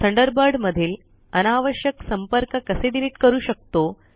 Thunderbird मधील अनावश्यक संपर्क कसे डीलीट करू शकतो